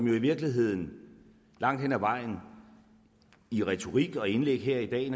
jo i virkeligheden langt hen ad vejen i retorik og indlæg her i dag